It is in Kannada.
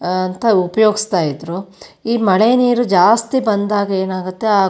ಅಹ್ ಅಂತ ಉಪಯೋಗಸ್ತಾ ಇದ್ರು ಈ ಮಳೆನೀರು ಜಾಸ್ತಿ ಬಂದಾಗ ಏನಾಗುತ್ತೆ --